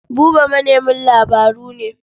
Buba manemin labaru ne.